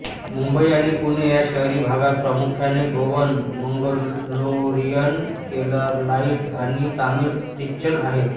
मुंबई आणि पुणे या शहरी भागात प्रामुख्याने गोवन मंगलोरियन केरलाइट आणि तामिळी ख्रिश्चन आहेत